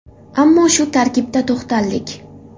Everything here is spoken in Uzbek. Ammo shu tarkibda to‘xtaldik.